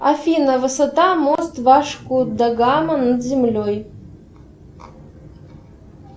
афина высота мост вашку да гама над землей